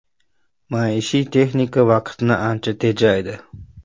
Maishiy texnika vaqtni ancha tejaydi.